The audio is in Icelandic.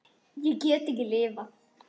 Ég get ekki lifað.